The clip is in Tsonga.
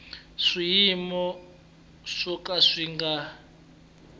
swiyimo swo ka swi nga